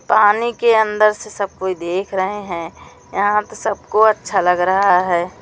पानी के अंदर से सब कोई देख रहे हैं यहां तो सबको अच्छा लग रहा है।